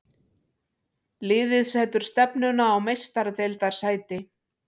Liðið setur stefnuna á Meistaradeildarsæti.